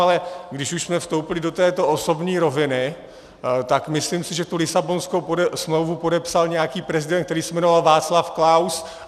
Ale když už jsme vstoupili do této osobní roviny, tak si myslím, že tu Lisabonskou smlouvu podepsal nějaký prezident, který se jmenoval Václav Klaus.